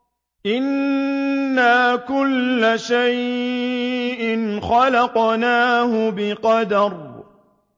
إِنَّا كُلَّ شَيْءٍ خَلَقْنَاهُ بِقَدَرٍ